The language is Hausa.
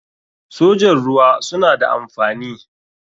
sojan ruwa suna da amfani.